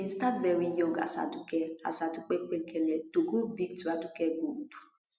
you bin start veri young as aduke as aduke penkele to grow big to aduke gold